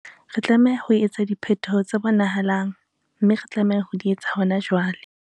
Re tlameha ho etsa diphetoho tse bonahalang, mme re tlameha ho di etsa hona jwale.